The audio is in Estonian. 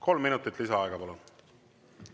Kolm minutit lisaaega, palun!